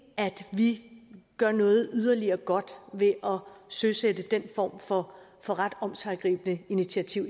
vi gør noget yderligere godt ved at søsætte den form for for ret omsiggribende initiativ